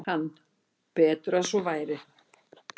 Hann: Betur að svo væri.